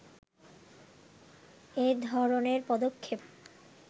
এ ধরনের পদক্ষেপ